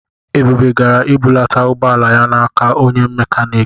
Ebube gara ibulata ụgbọala ya n'aka onye mekaniki.